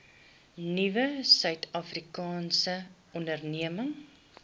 nuwe suidafrikaanse ondernemings